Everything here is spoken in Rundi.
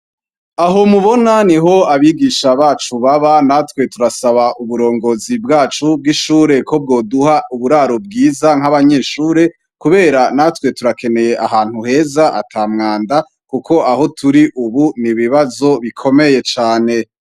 Aho mubona niho abigisha bacu baba, natwe turasaba umurongozi bwacu bw'ishure ko bwoduha uburaro bwiza nka'abanyeshure, kubera natwe turakeneye ahantu heza ata mwanda kuko aho turi ubu n'ibibazo bukomeye cane.